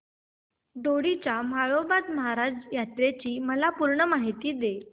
दोडी च्या म्हाळोबा महाराज यात्रेची मला पूर्ण माहिती दे